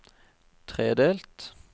tredelt